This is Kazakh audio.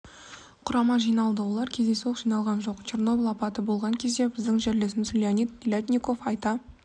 құрамы жиналды олар кездейсоқ жиналған жоқ черноболь апаты болған кезде біздің жерлесіміз леонид телятников айта